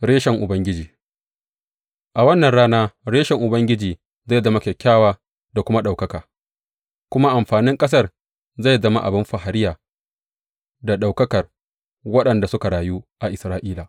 Reshen Ubangiji A wannan rana Reshen Ubangiji zai zama kyakkyawa da kuma ɗaukaka, kuma amfanin ƙasar zai zama abin fariya da ɗaukakar waɗanda suka rayu a Isra’ila.